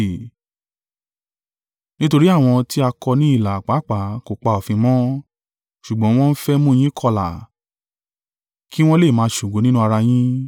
Nítorí àwọn tí a kọ ní ilà pàápàá kò pa òfin mọ́, ṣùgbọ́n wọ́n ń fẹ́ mú yin kọlà, kí wọn lè máa ṣògo nínú ara yín.